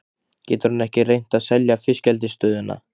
Getur hann ekki reynt að selja fiskeldisstöðina?